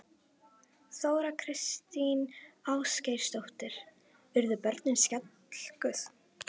Þóra Kristín Ásgeirsdóttir: Urðu börnin skelkuð?